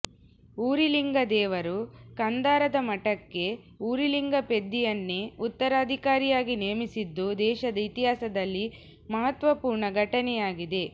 ಉರಿಲಿಂಗದೇವರು ಕಂಧಾರದ ಮಠಕ್ಕೆ ಉರಿಲಿಂಗಪೆದ್ದಿಯನ್ನೇ ಉತ್ತರಾಧಿಕಾರಿಯಾಗಿ ನೇಮಿಸಿದ್ದು ದೇಶದ ಇತಿಹಾಸದಲ್ಲಿ ಮಹತ್ವಪೂರ್ಣ ಘಟನೆಯಾಗಿದೆ